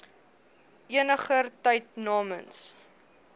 eniger tyd namens